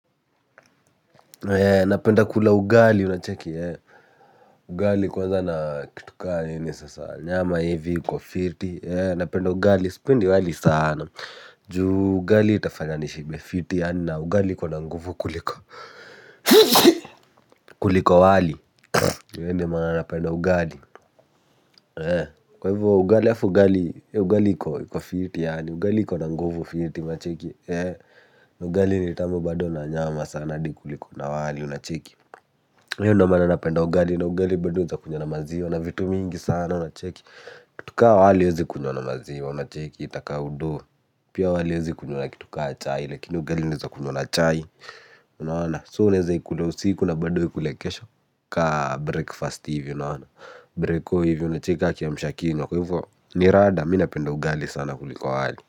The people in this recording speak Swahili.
Napenda kula ugali unacheki ugali kwanza na kitu kama ni sasa nyama hivi iko fiti napenda ugali sipendi wali sana juu ugali itafanya nishibe fiti yaani na ugali iko na nguvu kuliko kuliko wali ndiyo maana napenda ugali kwa hivyo ugali halafu ugali ugali iko iko fiti yaani ugali iko na nguvu fiti unacheki. Ugali ni tamu bado na nyama sana hadi kuliko na wali unacheki. Na hiyo ndiyo maana napenda ugali na ugali bado unaweza kunywa na maziwa na vitu mingi sana unacheki kitu kama wali huwezi kunywa na maziwa unacheki itakaa uduu pia wali huwezi kunywa na kitu kama chai lakini ugali unaweza kunywa na chai unaona so unaweza ikula usiku na bado uikule kesho. Kama breakfast hivi unaona. Breko hivi unacheki kama kiamsha kinywa kwa hivyo. Ni rada mimi napenda ugali sana kuliko wali.